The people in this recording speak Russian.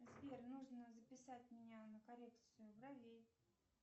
сбер нужно записать меня на коррекцию бровей